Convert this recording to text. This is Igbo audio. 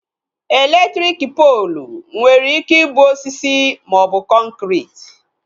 Elektriki poolu nwere ike ịbụ osisi maọbụ kọnkriti